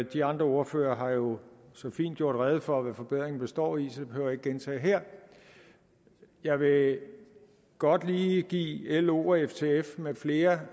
de andre ordførere har jo så fint gjort rede for hvad forbedringerne består i så det behøver ikke gentage her jeg vil godt lige give lo og ftf med flere